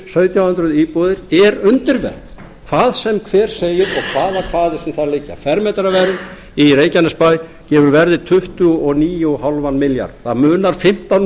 sautján hundruð íbúðir er undirverð hvað sem hver segir og hvaða kvaðir sem þar liggja fermetraverð í reykjanesbæ gefur verðið tuttugu og níu og hálfan milljarð það munar fimmtán